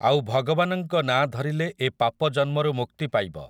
ଆଉ ଭଗବାନଙ୍କ ନା ଧରିଲେ ଏ ପାପ ଜନ୍ମରୁ ମୁକ୍ତି ପାଇବ ।